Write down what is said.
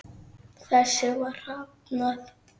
Þessu var hafnað.